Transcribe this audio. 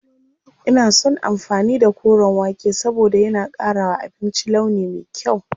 Ina son amfani da koren wake saboda yana ƙara wa abinci launi me kyau.